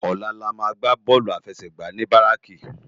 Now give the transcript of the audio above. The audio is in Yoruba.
Òlà lámà gbá bòlú áláfèsègbá ni báráki